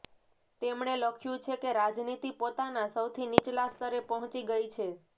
તેમણે લખ્યું છે કે રાજનીતિ પોતાના સૌથી નીચલા સ્તરે પહોંચી ગઈ છે